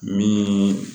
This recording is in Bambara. Min